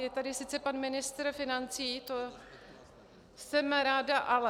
Je tady sice pan ministr financí, to jsem ráda, ale.